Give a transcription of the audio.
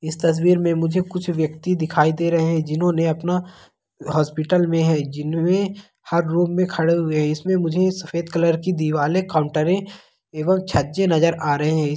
इस तस्वीर में मुझे कुछ वयक्ति दिखाई दे रहे है जिन्होंने अपना हॉस्पिटल में है जिनमे हर रूम में खड़े हुए है इसमें मुझे सफ़ेद कलर की दीवाले काउंटरे एवं छज्जे नज़र आ रहे है।